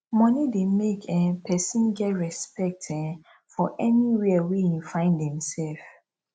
money de make um persin get respect um for anywhere wey im find im self